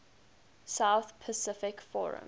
south pacific forum